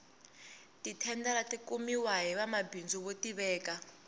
ti thendara ti kumiwa hi vanwamabindzu vo tiveka